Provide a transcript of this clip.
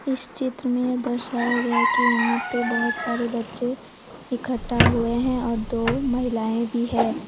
इस चित्र में यह दर्शाया गया कि यहां पर बहोत सारे बच्चे इकट्ठा हुए हैं और दो महिलाएं भी है।